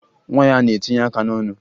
Nwa ya na-etinye aka n'ọnụ